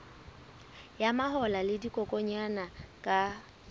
ya mahola le dikokwanyana ka